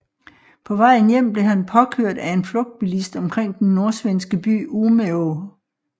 På vejen hjem blev han påkørt af en flugtbilist omkring den nordsvenske by Umeå